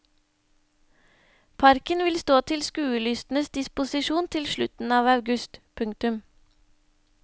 Parken vil stå til skuelystnes disposisjon til slutten av august. punktum